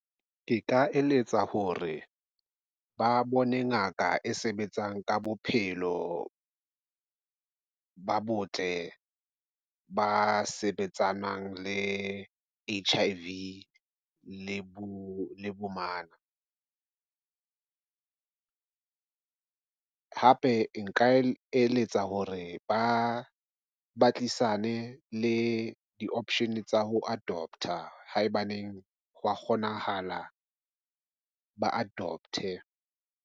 Ke ka eletsa ho re ba bone ngaka e sebetsang ka bophelo ba botle, ba sebetsanang le H_I_V le bo bomana. hape nka eletsa hore ba ba tlisane le di option tsa ho adopt-a. Haebaneng hwa kgonahala, ba adopt-e.